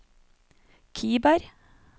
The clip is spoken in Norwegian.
Kiberg